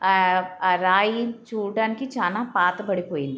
ఆ ఆ రాయి చూడ్డానికి చాలా పాతబడిపోయింది